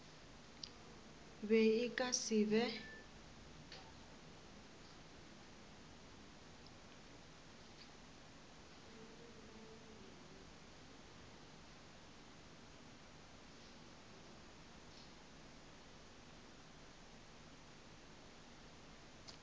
be e ka se be